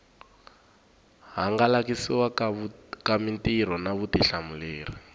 hangalasiwa ka mitirho na vutihlamuleri